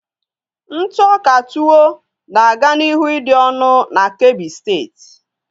Ntụ ọka tuwo na aga n'ihu ịdị ọnụ na kebbi State